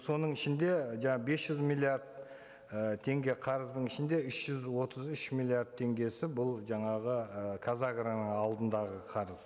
соның ішінде бес жүз миллиард ы теңге қарыздың ішінде үш жүз отыз үш миллиард теңгесі бұл жаңағы і қазагроның алдындағы қарыз